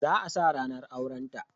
Za a sa ranar aurenta